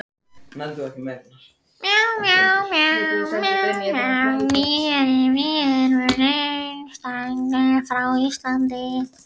Nýverið höfðu Eyrun numið skeytasendingar frá Íslandi.